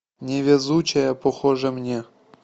невезучая покажи мне